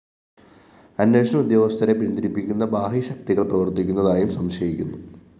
അന്വേഷണ ഉദ്യോഗസ്ഥരെ പിന്തിരിപ്പിക്കുന്ന ബാഹ്യശക്തികള്‍ പ്രവര്‍ത്തിക്കുന്നതായും സംശയിക്കുന്നു